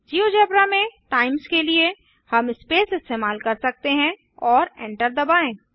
GeoGebra में times के लिए हम स्पेस इस्तेमाल कर सकते हैं और एंटर दबाएँ